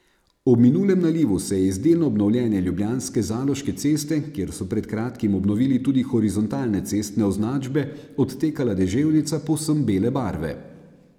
Ob minulem nalivu se je iz delno obnovljene ljubljanske Zaloške ceste, kjer so pred kratkim obnovili tudi horizontalne cestne označbe, odtekala deževnica povsem bele barve.